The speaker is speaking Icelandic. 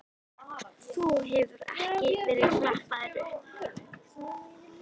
Þú hefur ekki verið klappaður upp?